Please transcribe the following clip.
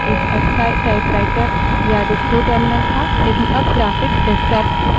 terminal पहले एक ascii typewriter या display terminal था